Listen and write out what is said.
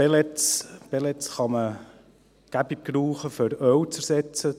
Pellets kann man gut gebrauchen, um Öl zu ersetzen.